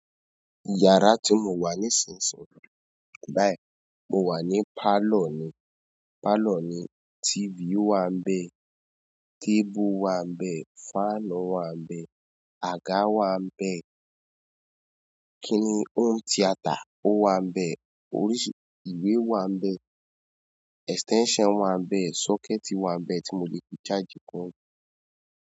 Yàrá tí mo wà nísinsìnyí báyìí, mo wà ní pálọ̀ ni. Pálọ̀ ni, TV wà níbẹ̀, tébù wà níbẹ̀, fanu wà níbẹ̀, àga wà níbẹ̀, kini home theater o wanbẹ, oríṣi ìwé wanbẹ, extension wanbẹ, socket wanbẹ ti mo le fi charge.